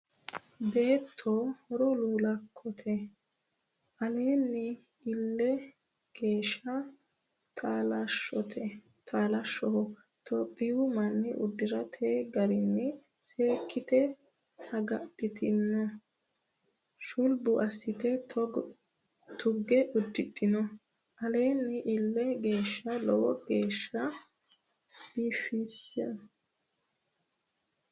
Beetto horo lulakkote alini eelli geeshsha taalashaho tophiyu manni udirate garano seekkite agadhitino shulbu assite tuge udidhino alini eelli geeshsha lowo geeshsha biifinose.